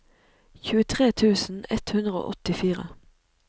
tjuetre tusen ett hundre og åttifire